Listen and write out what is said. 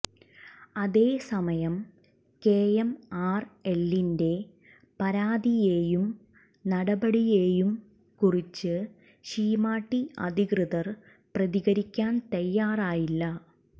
അതേ സമയം കെഎംആർഎല്ലിന്റെ പരാതിയേയും നടപടിയെയും കുറിച്ച് ശീമാട്ടി അധികൃതർ പ്രതികരിക്കാൻ തയ്യാറായില്ല